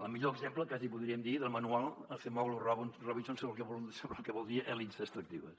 el millor exemple quasi podríem dir del manual acemoğlu robinson sobre el que vol dir elits extractives